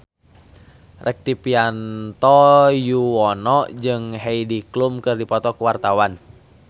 Rektivianto Yoewono jeung Heidi Klum keur dipoto ku wartawan